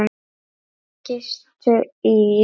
Þeir gistu í